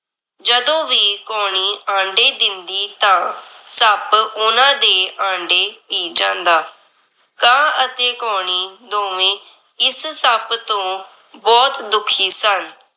ਜਦੋਂ ਵੀ ਕਾਉਣੀ ਆਂਡੇ ਦਿੰਦੀ ਤਾਂ ਸੱਪ ਓਹਨਾਂ ਦੇ ਆਂਡੇ ਪੀ ਜਾਂਦਾ। ਕਾਂ ਅਤੇ ਕਉਣੀ ਦੋਵੇਂ ਇਸ ਸੱਪ ਤੋਂ ਬਹੁਤ ਦੁੱਖੀ ਸਨ।